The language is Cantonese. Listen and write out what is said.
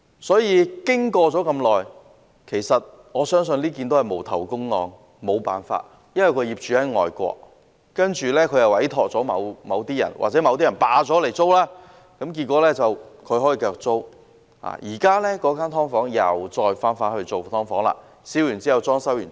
所以，事件發生了這麼久，我相信這宗也是"無頭公案"了，沒有辦法，因為業主在外國，他委託了某些人，又或某些人霸佔了物業，然後將之出租，結果是他可以繼續出租物業。